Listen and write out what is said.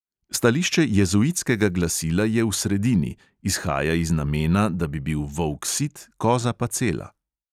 Stališče jezuitskega glasila je v sredini – izhaja iz namena, da bi bil volk sit, koza pa cela.